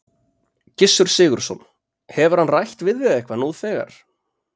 Gissur Sigurðsson: Hefur hann rætt við þig eitthvað nú þegar?